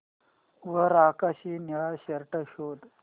वर आकाशी निळा शर्ट शोध